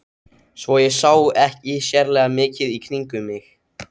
Svo ég sá ekki sérlega mikið í kringum mig.